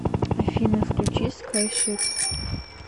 афина включи скайшипз